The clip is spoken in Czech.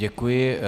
Děkuji.